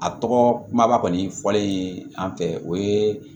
A tɔgɔ kuma ba kɔni fɔlen an fɛ o ye